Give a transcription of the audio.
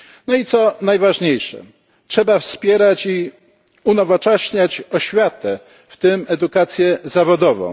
I co najważniejsze, trzeba wspierać i unowocześniać oświatę, w tym edukację zawodową.